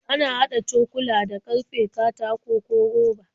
Ana haɗa cokula da ƙarfe, katako, ko roba.